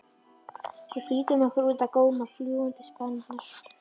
Við flýttum okkur út að góma fljúgandi spjarirnar.